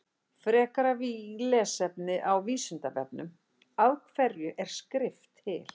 Frekara lesefni á Vísindavefnum Af hverju er skrift til?